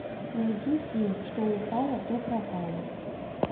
найди фильм что упало то пропало